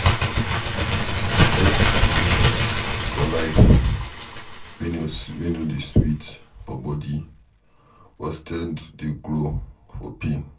Dem get transitions for life wey no dey sweet for body but strength dey grow for pain